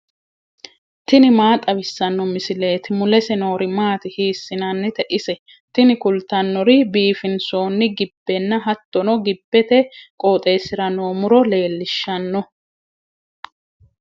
tini maa xawissanno misileeti ? mulese noori maati ? hiissinannite ise ? tini kultannori biifinsoonni gibbenna hattono gibbete qooxeessira noo muro leellishshanno.